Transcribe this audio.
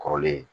Kɔrɔlen